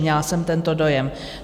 Měla jsem tento dojem.